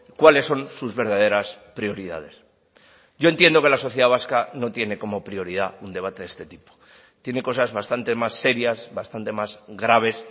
cuáles son sus verdaderas prioridades yo entiendo que la sociedad vasca no tiene como prioridad un debate de este tipo tiene cosas bastante más serias bastante más graves